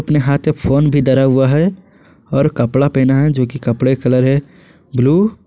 अपने हाथ में फोन भी धरा हुआ हैं और कपड़ा पहना है जो कि कपड़े का कलर है ब्लू ।